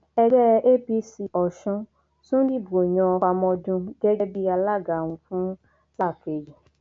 ẹgbẹ apc ọsùn tún dìbò yan famodun gẹgẹ bíi alága wọn fún sáà kejì